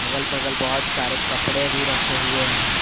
अगल बगल बहुत सारे कपड़े भी रखे हुए हैं।